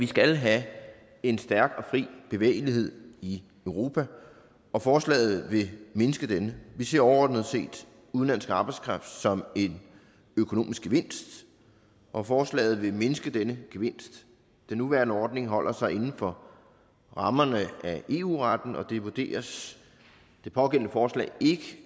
skal have en stærk og fri bevægelighed i europa og forslaget vil mindske denne vi ser overordnet udenlandsk arbejdskraft som en økonomisk gevinst og forslaget vil mindske denne gevinst den nuværende ordning holder sig inden for rammerne af eu retten og det vurderes det pågældende forslag ikke